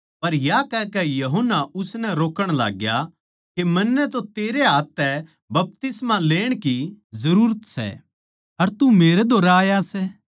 पर या कहकै यूहन्ना उसनै रोक्कण लाग्या कै मन्नै तो तेरै हाथ तै बपतिस्मा लेण की जरूरत सै अर तू मेरै धोरै आया सै